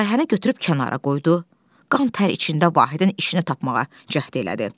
Layihəni götürüb kənara qoydu, qan tər içində Vahidin işini tapmağa cəhd elədi.